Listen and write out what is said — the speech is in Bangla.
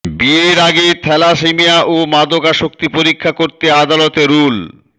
বিয়ের আগে থ্যালাসেমিয়া ও মাদকাসক্তি পরীক্ষা করতে আদালতের রুল